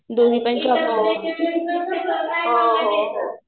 हो हो हो